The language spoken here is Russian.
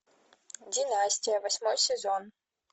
династия восьмой сезон